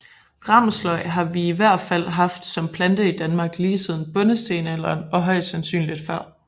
Ramsløg har vi i hvert fald haft som plante i Danmark lige siden bondestenalderen og højst sandsynlig før